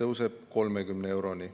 tõuseb 30 euroni.